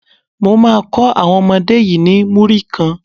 Mo má kó àwọn ọmọdé yí ni Múrí kan.